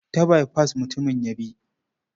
Ta baifas mutumin ya bi.